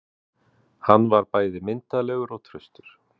Hann var bæði myndarlegur og traustur.